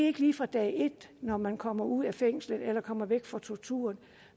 ikke lige fra dag et når man kommer ud af fængslet eller kommer væk fra torturen